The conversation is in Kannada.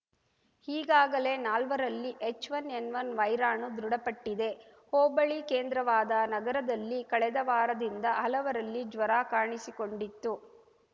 ಈಗಾಗಲೇ ನಾಲ್ವರಲ್ಲಿ ಎಚ್‌ವನ್ ಎನ್‌ವನ್ ವೈರಾಣು ದೃಢಪಟ್ಟಿದೆ ಹೋಬಳಿ ಕೇಂದ್ರವಾದ ನಗರದಲ್ಲಿ ಕಳೆದ ವಾರದಿಂದ ಹಲವರಲ್ಲಿ ಜ್ವರ ಕಾಣಿಸಿಕೊಂಡಿತ್ತು